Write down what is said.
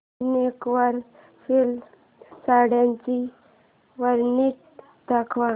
वूनिक वर सिल्क साड्यांची वरायटी दाखव